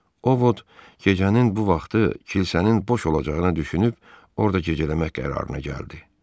Ovot gecənin bu vaxtı kilsənin boş olacağını düşünüb orda gecələmək qərarına gəldi.